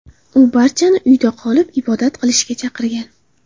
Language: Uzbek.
U barchani uyda qolib, ibodat qilishga chaqirgan.